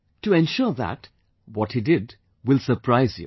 To ensure that, what he did will surprise you